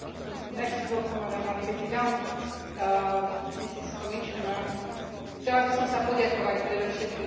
Chcela by som sa poďakovať predovšetkým kolegovi Svobodovi za vytrvalosť, s akou sa venuje otázke letného času.